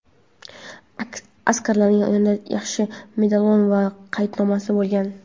Askarning yonida shaxsiy medalon va qaydnomada bo‘lgan.